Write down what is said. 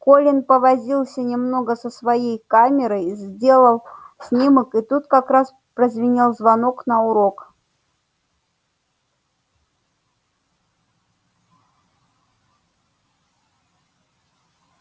колин повозился немного со своей камерой сделал снимок и тут как раз прозвенел звонок на урок